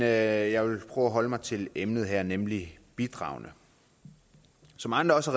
jeg vil prøve at holde mig til emnet her nemlig bidragene som andre også